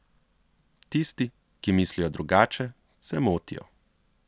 Tisti, ki mislijo drugače, se motijo.